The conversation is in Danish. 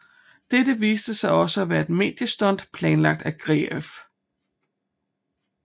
Dette viste sig også at være et mediestunt planlagt af Greif